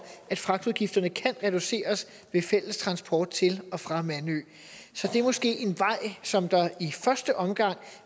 at fragtudgifterne kan reduceres ved fælles transport til og fra mandø så det er måske en vej som det i første omgang